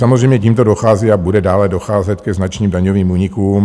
Samozřejmě tímto dochází a bude dále docházet ke značným daňovým únikům.